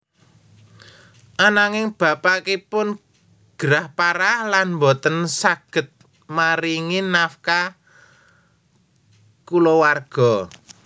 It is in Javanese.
Ananging bapakipun gerah parah lan boten saged maringi nafkah kulawarga